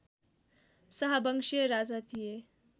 शाहबंशीय राजा थिए